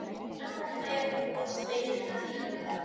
Já, en þetta eru nú bara tveir tímar.